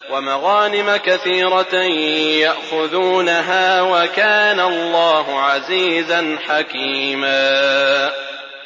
وَمَغَانِمَ كَثِيرَةً يَأْخُذُونَهَا ۗ وَكَانَ اللَّهُ عَزِيزًا حَكِيمًا